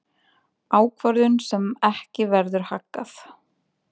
Ákvörðun sem ekki verður haggað.